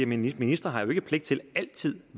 ministeren ikke har pligt til altid